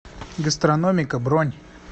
гастрономика бронь